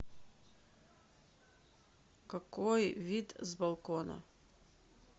какой вид с балкона